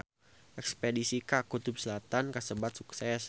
Espedisi ka Kutub Selatan kasebat sukses